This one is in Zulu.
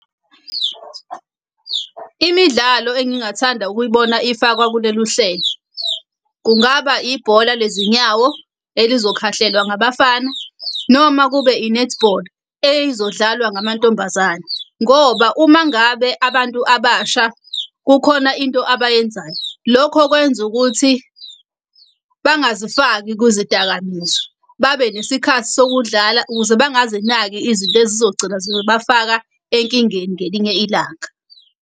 Imidlalo engingathanda ukuyibona ifakwa kulelu hlelo, kungaba ibhola lezinyawo elizokhahlelwa ngabafana, noma kube i-netball eyizodlalwa ngamantombazane. Ngoba uma ngabe abantu abasha kukhona into abayenzayo, lokho kwenza ukuthi bangazifaki kuzidakamizwa. Babe nesikhathi sokudlala ukuze bangazinaki izinto ezizogcina zibafaka enkingeni ngelinye ilanga.